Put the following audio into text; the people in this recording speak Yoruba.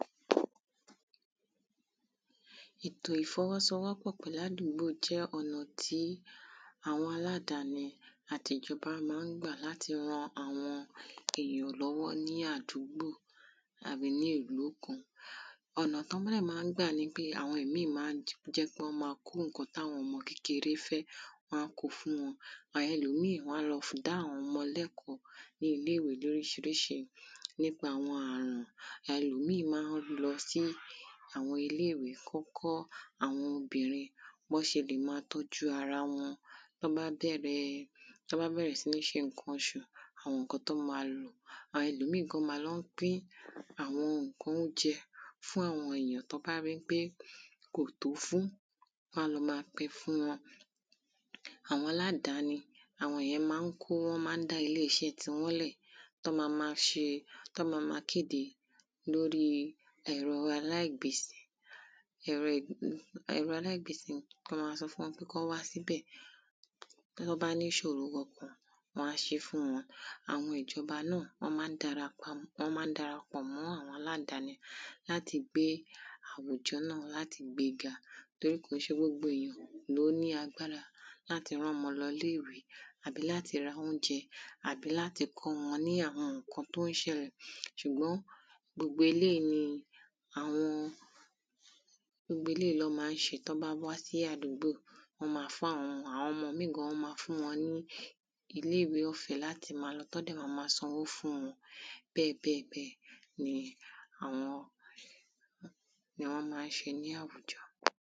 ètò ìfọwọ́sowọ́pọ̀ pẹ̀lú àdúgbò jẹ́ ọ̀nà tí àwọn aládáni àti ìjọba máa ń gbà láti ran àwọn èèyàn lọ́wọ́ ní àdúgbò àbí ní ìlú kan ọ̀nà tán báí ì máa ń gbà nipé àwọn ìmíì máa ń jẹ́ kán máa kó ǹkan tí àwọn ọmọ kékeré ń fẹ́ wọ́n á ko fún wọn ẹlòmíì wọ́n á lọ dá àwọn ọmọ lẹ́kọ̀ọ́ ní ilé ìwé lóríṣiríṣi nípa àwọn àrùn ẹlòmíì máa ń lọ sí àwọn ilé ìwé kán kọ́ àwọn obìrin bí wọ́n ṣe lè máa tọ́jú ara wọn bí wọ́n bá bẹ̀rẹ̀ sí ní ṣe ǹkan oṣù àwọn ǹkan tán máa lò àwọn ẹlòmíì gan wọ́n máa lọ ń pín àwọn ǹkan oúnjẹ fún àwọn èèyàn tán bá ri pé kò tó fún wọ́n á lọ máa pin fún wọn àwọn aládáni àwọn ìyẹn máa ń kó wọ́n máa ń dá ilé iṣẹ́ tiwọn lẹ̀ tán ma ma ṣe tán ma ma kéde lórí ẹ̀rọ alíàgbèsì wọ́n máa sọ fún wọn pé kán wá síbẹ̀ tán bá ní ìṣòro wọ́n á ṣé fún wọn àwọn ìjọba náà wọ́n máa ń dara pọ̀ mọ́ àwọn aládáni láti gbé àwùjọ náà láti gbe ga torí kòó ṣe gbogbo èèyàn ló ní agbára láti rán ọmọ lọ ilé ìwé àbí láti ra oúnjẹ àbí láti kọ́ ọmọ ní àwọn ǹkan tó ń ṣẹlẹ̀ ṣùgbọ́n gbogbo eléyìí ní àwọn gbogbo eléyìí ni wọ́n máa ń ṣe tán bá wá sí àdúgbò wọ́n ma fún àwọn ọmọ àwọn ọmọ míì gan wọ́n máa fún wọn ní ilé ìwé ọ̀fẹ́ láti máa lọ tán dẹ̀ máa lọ sanwó fún wọn bẹ́ẹ̀ bẹ́ẹ̀ bẹ́ẹ̀ ni àwọn ni wọ́n máa ń ṣe láwùjọ